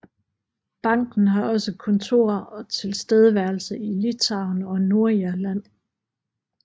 Banken har også kontorer og tilstedeværelse i Litauen og Nordirland